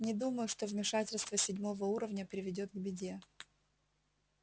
не думаю что вмешательство седьмого уровня приведёт к беде